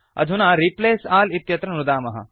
अधुना रिप्लेस अल् इत्यत्र नुदामः